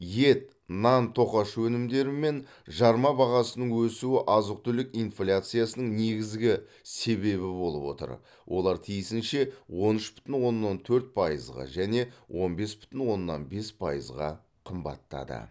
ет нан тоқаш өнімдері мен жарма бағасының өсуі азық түлік инфляциясының негізгі себебі болып отыр олар тиісінше он үш бүтін оннан төрт пайызға және он бес бүтін оннан бес пайызға қымбаттады